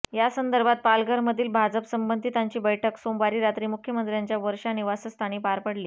यासंदर्भात पालघरमधील भाजप संबंधितांची बैठक सोमवारी रात्री मुख्यमंत्र्यांच्या वर्षा निवासस्थानी पार पडली